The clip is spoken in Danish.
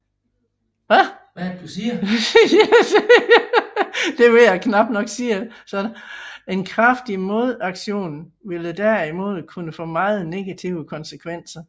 En kraftig modaktion ville derimod kunne få meget negative konsekvenser